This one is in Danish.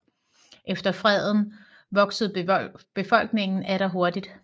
Efter freden voksede befolkningen atter hurtigt